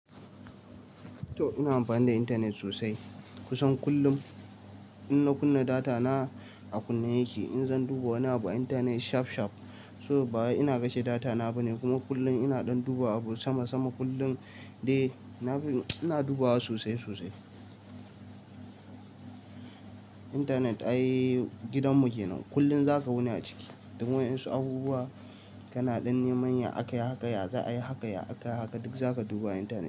To ina amfani da intanet sosai. Kusan kullum in na kunna data na a kunne yake. In zan duba wani abu internet shaf- shaf, so bawai ina kashe data na bane, kuma kullum ina ɗan duba abu sama sama kullum. Eh ina dubawa sosai sosai. Intanet ai gidan mu kenan. Kullum zaka wuni a ciki. Domin waƴan su abubuwa, kana dan neman ya akayi haka, ya za a yi haka, ya akayi haka duk zaka duba intanet.